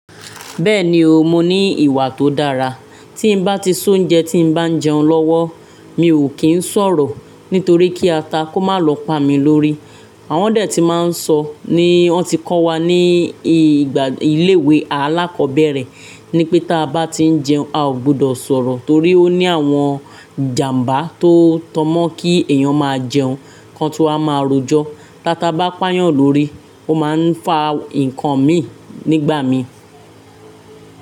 Bẹ́ẹ̀ni o, mo ní ìwà tó dára. Tí n bá ti s'oúnjẹ tí n bá ń jẹun lọ́wọ́, mi ò kí ń sọ̀rọ̀ nítorí kí ata kó má lọ pa mi lórí. Àwọn dẹ tí máa ń sọ ní wọn ti kọ́ wa ní ìgbà ilé ìwé alákọ̀ọ́bẹ̀rẹ̀ ní pé tí a bá tí ń jẹun, a ò gbọdọ̀ sọ̀rọ̀ torí ó ní àwọn ìjàmbá tó tọmọ́ kí èèyàn máa jẹun kan tun waa máa rọjọ́. Táta bá pàyàn lórí, ó máa ń fa nǹkan mii nígbà mii.